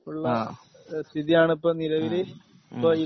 അഹ് ഹമ്